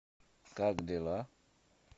как дела